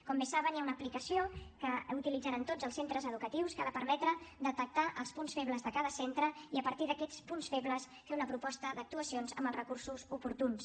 com bé saben hi ha una aplicació que utilitzaran tots els centres educatius que ha de permetre detectar els punts febles de cada centre i a partir d’aquests punts febles fer una proposta d’actuacions amb els recursos oportuns